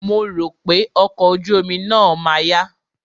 Mo rò pé ọkọ̀ ojú omi náà ma yá.